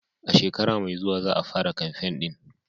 A shekara mai zuwa za a fara kamfen ɗin.